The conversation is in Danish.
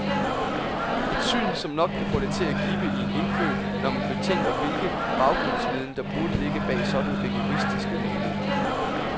Et syn, som nok kan få det til at gibbe i en indfødt, når man betænker hvilken baggrundsviden, der burde ligge bag sådanne rigoristiske meninger.